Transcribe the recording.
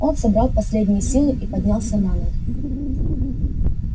он собрал последние силы и поднялся на ноги